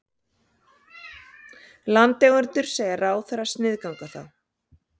Landeigendur segja ráðherra sniðganga þá